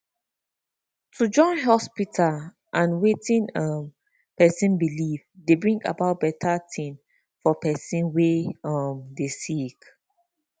to join hospita and wetin um pesin belief dey bring out beta tin for pesin wey um dey sick